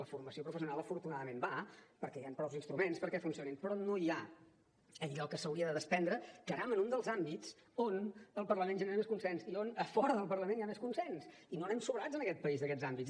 la formació professional afortunadament va perquè hi han prou instruments perquè funcioni però no hi ha allò que s’hauria de desprendre caram en un dels àmbits on el parlament genera més consens i on a fora del parlament hi ha més consens i no anem sobrats en aquest país d’aquests àmbits